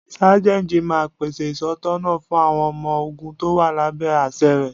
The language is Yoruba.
Sájẹ́ntì máa ń pèsè ìtọ̀sọ́nà fún àwọn ọmọ ogún tó wà lábẹ́ àṣẹ rẹ.